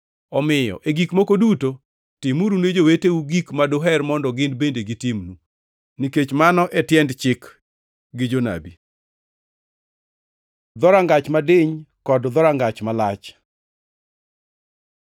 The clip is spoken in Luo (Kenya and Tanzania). Omiyo, e gik moko duto, timuru ne joweteu gik ma duher mondo gin bende gitimnu, nikech mano e tiend Chik gi Jonabi. Dhorangach madiny kod dhorangach malach